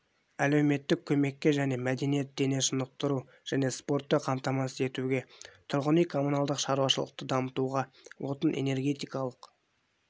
әлеуметтік көмекке және мәдениет дене шынықтыру және спортты қамтамасыз етуге тұрғын үй-коммуналдық шаруашылықты дамытуға отын-энергетикалық